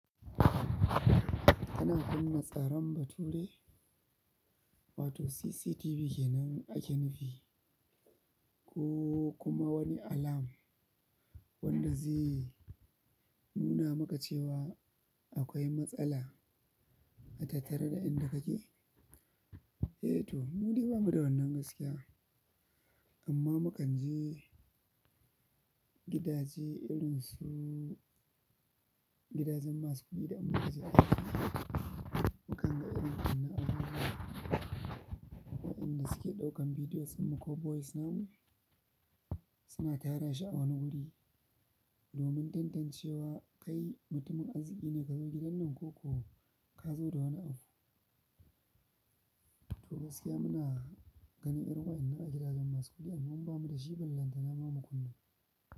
Ana kunna tsaron bature wato CCTV kenan ake nufi, ko kuma wani alarm wanda zai nuna maka cewa akwai matsala a tattare da inda kake? Eh to, mu dai bamu da wannan gaskiya amma mukan je gidaje irin su gidajen masu kuɗi da in muka je aiki. Mukan ga irin wannan abubuwa waɗanda suke ɗaukan bidiyoyinmu ko voice namu suna tarashi a wani wuri domin tantancewa kai mutumin arziki ne kazo gidan nan ko ka zo da wani abu. To gaskiya muna ganin irin waɗannan a gidajen masu kuɗi amma bamu da shi ban lantana ma mu kunna.